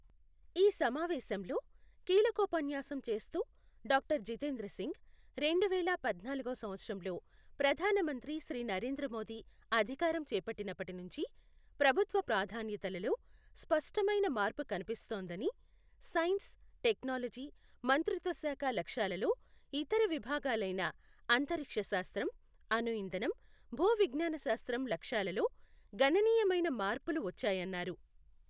ఈ సమావేశంలో కీలకోపన్యాసం చేస్తూ డాక్టర్ జితేంద్ర సింగ్, రెండు వేల పద్నాలుగో సంవత్సరంలో ప్రధానమంత్రి శ్రీ నరేంద్ర మోదీ అధికారం చేపట్టినప్పటి నుంచి, ప్రభుత్వ ప్రాధాన్యతలలో స్పష్టమైన మార్పు కనిపిస్తోందని, సైన్స్, టెక్నాలజీ మంత్రిత్వశాఖ లక్ష్యాలలో, ఇతర విభాగాలైన అంతరిక్షశాస్త్రం, అణుఇంధనం, భూ విజ్ఞ్యాన శాస్త్రం లక్ష్యాలలో గణనీయమైన మార్పులు వచ్చాయన్నారు.